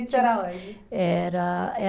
Era onde? Era, eh